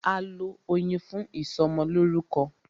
A lọ Oyin fún ìsọmọlórúkọ.